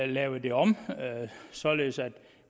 lavet det om således at